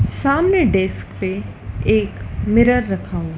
सामने डेस्क पे एक मिरर रखा हुआ--